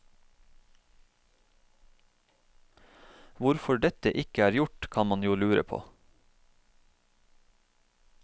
Hvorfor dette ikke er gjort, kan man jo lure på.